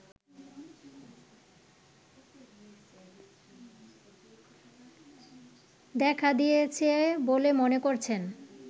দেখা দিয়েছে বলে মনে করছেন